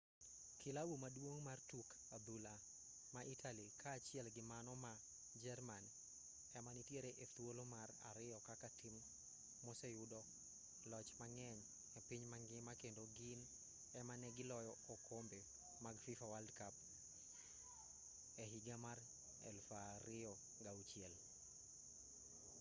kilabu maduong' mar tuk adhula ma italy kaachieli gi mano ma jerman ema nitiere e thuolo mar ariyo kaka tim moseyudo loch mang'eny e piny mangima kendo gin ema ne giloyo okombe mag fifa world cup e higa mar 2006